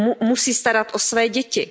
musí starat o své děti.